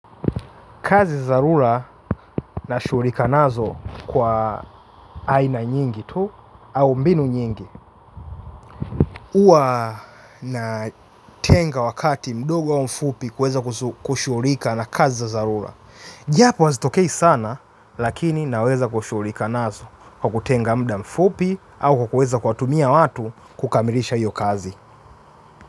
Kazi dharura nashughulika nazo kwa aina nyingi tu au mbinu nyingi. Huwa natenga wakati mdogo au mfupi kuweza kushughulika na kazi dharura. Japo hazitokei sana lakini naweza kushughulika nazo kwa kutenga muda mfupi au kwa kuweza kuwatumia watu kukamilisha hiyo kazi.